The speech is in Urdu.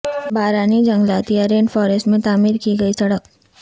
بارانی جنگلات یا رین فارسٹ میں تعمیر کی گئی سڑک